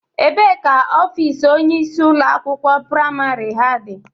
Ebee ka ofiisi onyeisi ụlọ akwụkwọ priamarị ha dị?